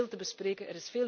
Er is veel te bespreken.